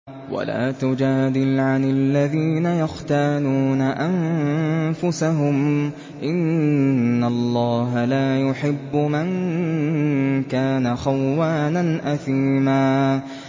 وَلَا تُجَادِلْ عَنِ الَّذِينَ يَخْتَانُونَ أَنفُسَهُمْ ۚ إِنَّ اللَّهَ لَا يُحِبُّ مَن كَانَ خَوَّانًا أَثِيمًا